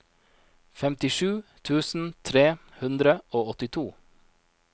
femtisju tusen tre hundre og åttito